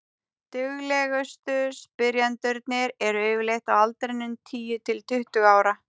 duglegustu spyrjendurnir eru yfirleitt á aldrinum tíu til tuttugu ára